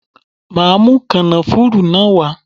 Màá mú kànáfùrú náà wá.